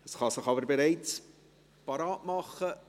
Man kann sich aber schon bereithalten.